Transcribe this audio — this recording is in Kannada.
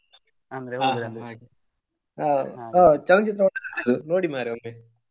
ಹಾ ಹಾಗೆ. ಹಾ ಚಲನಚಿತ್ರವನ್ನು ನೋಡಿ ಮಾರೆ ಒಮ್ಮೆ.